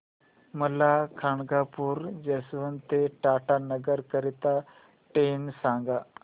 मला खडगपुर जंक्शन ते टाटानगर करीता ट्रेन सांगा